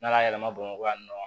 N'ala y'a yɛlɛma bamakɔ yan nɔ